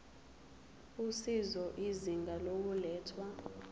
usizo izinga lokulethwa